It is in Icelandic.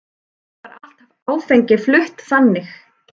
Því var allt áfengi flutt þannig.